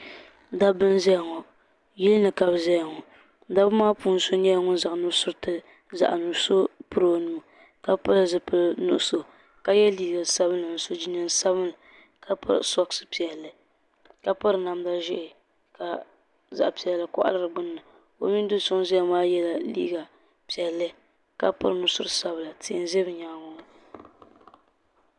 Dabba n zaya ŋɔ yilini ka bɛ zaya ŋɔ dabba maani puuni so nyɛla ŋun zaŋ nusuriti zaɣa nuɣuso m piri o nuu ka pili zipil'nuɣuso ka ye liiga sabinli ni jinjiɛm sabinli ka piri soksi piɛlli ka piri namda ʒee ka zaɣa piɛlli koɣali di gbinni o mini do'so ŋun zaya maa yela liiga piɛlli ka piri nusuri sabila tihi m be bɛ nyaanga ŋɔ.